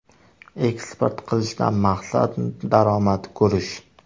Eksport qilishdan maqsad daromad ko‘rish.